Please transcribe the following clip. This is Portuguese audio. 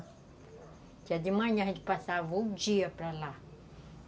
Dia de manhã a gente passava o dia para lá.